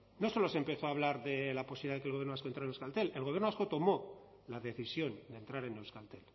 no solo se empezó a hablar de la posibilidad de que el gobierno vasco entrara en euskaltel el gobierno vasco tomó la decisión de entrar en euskaltel